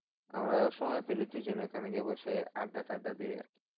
আমরা সময় পেলেই দুজনে ওখানে গিয়ে বসে আড্ডা টাড্ডা দিয়ে